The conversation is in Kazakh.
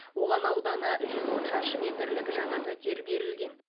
оған ауданы жүз он шаршы метрлік жаңа пәтер берілген